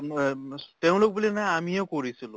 বা মুয়ে তেওঁলোক বুলি নহয়, আমিও কৰিছিলোঁ।